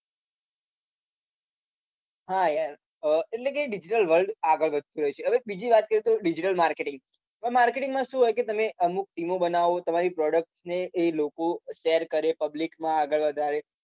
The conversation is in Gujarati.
હા યાર એટલે કે digital world આગળ વધતું રહ્યું છે હવે બીજી વાત કરીએ તો digital marketing marketing માં શું હોય કે તમે વીમો બનાવો તમારી product ને એ લોકો share કરે public માં આગળ વધારે